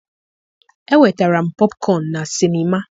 enwetara m popcorn na sinima.